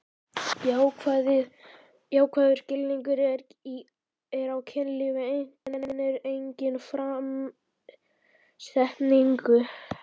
Jákvæður skilningur á kynlífinu einkennir einnig framsetningu